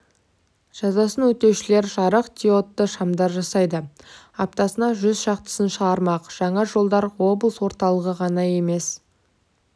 жазасын өтеушілер жарық диодты шамдар жасайды аптасына жүз шақтысын шығармақ жаңа жолдар облыс орталығы ғана емес